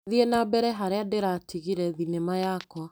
Thiĩ na mbere harĩa ndiratigire thinema yakwa.